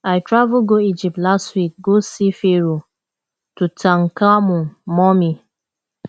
i travel go egypt last week go see pharoah tutankhamun mummy